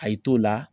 A y'i t'o la